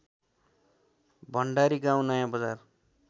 भण्डारी गाउँ नयाँबजार